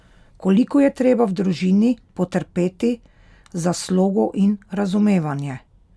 Koliko je treba v družini potrpeti za slogo in razumevanje?